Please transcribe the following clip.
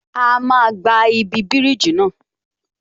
A máa gba ibi bíríjì náà